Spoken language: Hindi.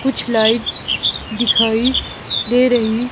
कुछ लाइट्स दिखाई दे रही--